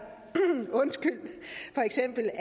for eksempel